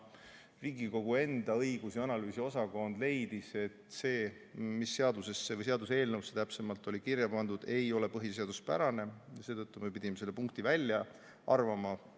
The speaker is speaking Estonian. Riigikogu õigus- ja analüüsiosakond leidis, et see, mis seaduseelnõusse täpsemalt oli kirja pandud, ei ole põhiseaduspärane, ja seetõttu me pidime selle punkti välja arvama.